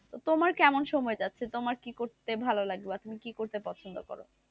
তোমার কেমন সময় যাচ্ছে তোমার কি করতে ভালো লাগে বা তুমি কি করতে পছন্দ কর,